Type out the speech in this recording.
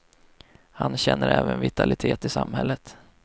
Han känner även vitalitet i samhället.